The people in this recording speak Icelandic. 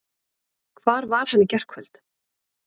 Hvar var hann í gærkvöld?